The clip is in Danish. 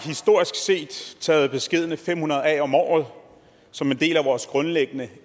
historisk set taget beskedne fem hundrede af om året som en del af vores grundlæggende